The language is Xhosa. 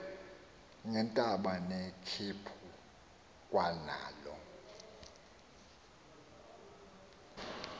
ngeentaba nekhephu kwanalo